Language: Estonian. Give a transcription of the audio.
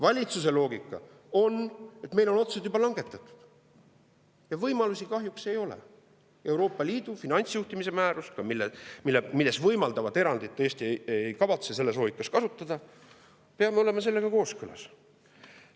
Valitsuse loogika aga on, et meil on otsused juba langetatud ja võimalusi kahjuks ei ole, Euroopa Liidu finantsjuhtimise määruses võimaldatud erandit ei kavatse Eesti selles loogikas kasutada, me peame kooskõlas.